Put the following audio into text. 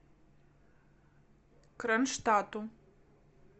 кронштадту